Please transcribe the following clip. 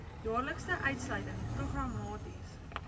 jaarlikse uitsluiting programmaties